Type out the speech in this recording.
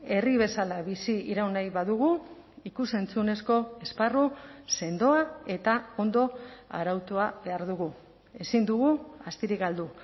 herri bezala biziraun nahi badugu ikus entzunezko esparru sendoa eta ondo arautua behar dugu ezin dugu astirik galdu